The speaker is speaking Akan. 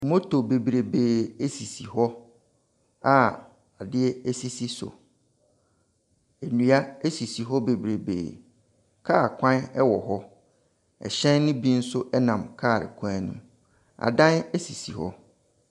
Motor bebreebe esisi hɔ a adeɛ esi so. Nnua esisi hɔ bebree. Car kwan ɛwɔ hɔ. Ɛhyɛn no bi nso ɛnam car kwan no mu. Adan esisi hɔ.